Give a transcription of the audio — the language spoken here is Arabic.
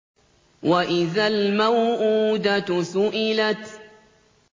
وَإِذَا الْمَوْءُودَةُ سُئِلَتْ